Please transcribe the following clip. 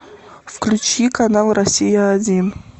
включи канал россия один